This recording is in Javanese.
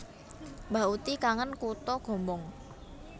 Mbah uti kangen kuto Gombong